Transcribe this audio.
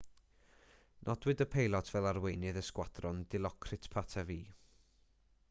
nodwyd y peilot fel arweinydd y sgwadron dilokrit pattavee